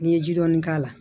N'i ye ji dɔɔni k'a la